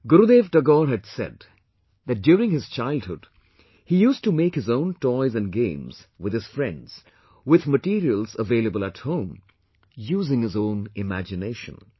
Gurudev Tagore had said that during his childhood, he used to make his own toys and games with his friends, with materials available at home, using his own imagination